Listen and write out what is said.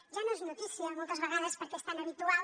ja no és notícia moltes vegades perquè és tant habitual